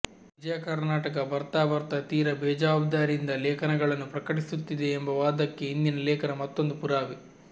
ವಿಜಯಕರ್ನಾಟಕ ಬರ್ತಾ ಬರ್ತಾ ತೀರಾ ಬೇಜಾವಾಬ್ದಾರಿಯಿಂದ ಲೇಖನಗಳನ್ನು ಪ್ರಕಟಿಸುತ್ತಿದೆ ಎಂಬ ವಾದಕ್ಕೆ ಇಂದಿನ ಲೇಖನ ಮತ್ತೊಂದು ಪುರಾವೆ